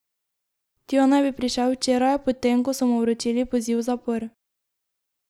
Tja naj bi prišel včeraj, po tem, ko so mu vročili poziv v zapor.